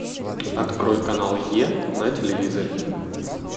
открой канал е на телевизоре